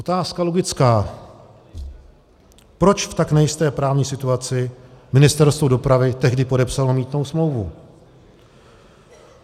Otázka logická - proč v tak nejisté právní situaci Ministerstvo dopravy tehdy podepsalo mýtnou smlouvu.